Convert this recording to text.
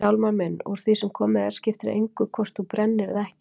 Hjálmar minn, úr því sem komið er skiptir engu máli hvort þú brennir eða ekki.